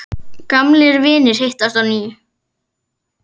Gamlir vinir hittast á ný.